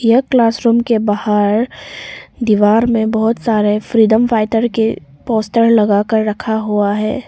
यह classroom के बाहर दीवार में बहुत सारे फ्रीडम फाइटर के पोस्टर लगा कर रखा हुआ है।